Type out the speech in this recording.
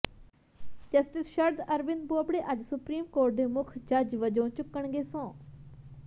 justice Sharad Arvind Bobde ਅੱਜ supreme court ਦੇ ਮੁੱਖ ਜੱਜ ਵਜੋਂ ਚੁੱਕਣਗੇ ਸਹੁੰ